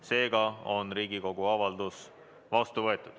Seega on Riigikogu avaldus vastu võetud.